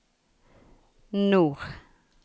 nord